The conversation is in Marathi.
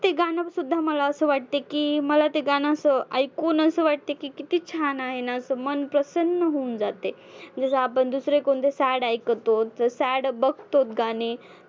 ते गाणंसुद्धा मला असं वाटते की मला ते गाणं असं ऐकून असं वाटते की किती छान आहे ना, मन प्रसन्न होऊन जातंय. जसं आपण दुसरे कोणते sad ऐकतो तर sad बघतो गाणे